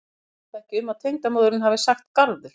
Ég efast ekki um að tengdamóðirin hafi sagt garður.